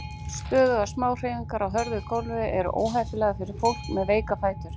Stöðugar smáhreyfingar á hörðu gófli eru óheppilegar fyrir fólk með veika fætur.